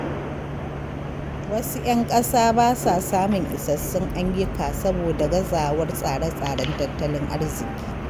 Wasu ‘yan ƙasa ba sa samun isassun ayyuka saboda gazawar tsare-tsaren tattalin arziƙi.